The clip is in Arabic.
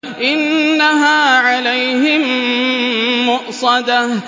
إِنَّهَا عَلَيْهِم مُّؤْصَدَةٌ